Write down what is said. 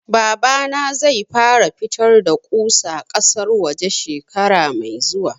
Babana zai fara fitar da ƙusa ƙasar waje shekara mai zuwa